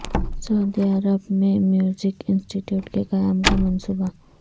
سعودی عرب میں music institute کے قیام کا منصوبہ